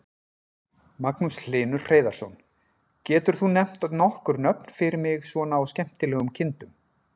Magnús Hlynur Hreiðarsson: Getur þú nefnt nokkur nöfn fyrir mig svona á skemmtilegum kindum?